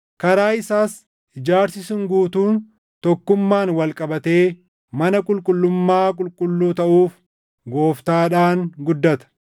Karaa isaas ijaarsi sun guutuun tokkummaan wal qabatee mana qulqullummaa qulqulluu taʼuuf Gooftaadhaan guddata.